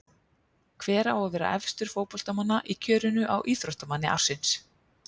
Hver á að vera efstur fótboltamanna í kjörinu á Íþróttamanni ársins?